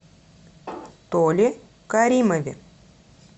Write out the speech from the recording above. толе каримове